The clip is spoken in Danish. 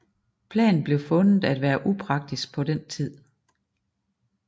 Planen blev fundet at være upraktisk på den tid